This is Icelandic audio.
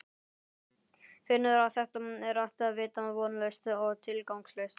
Finnur að þetta er allt vita vonlaust og tilgangslaust.